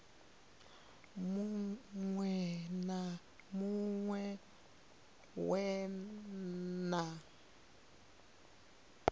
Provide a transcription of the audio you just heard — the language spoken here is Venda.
muṅwe na muṅwe we wa